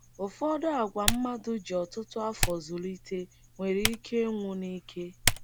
Ụfọdụ àgwà mmadụ ji ọtụtụ afọ zụlite nwere ike ịnwụ nike.